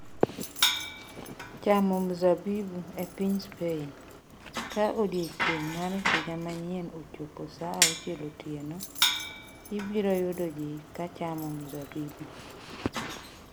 Chamo mzabibu E piny Spain, ka odiechieng’ mar Higa Manyien ochopo saa auchiel otieno, ibiro yudo ji ka chamo mzabibu.